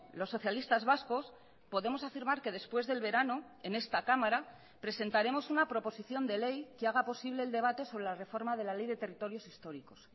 los socialistas vascos podemos afirmar que después del verano en esta cámara presentaremos una proposición de ley que haga posible el debate sobre la reforma de la ley de territorios históricos